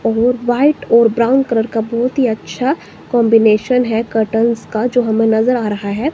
और व्हाइट और brown colour का बहोत ही अच्छा कंबीनेशन है कर्टेन्स का जो हमें नजर आ रहा है।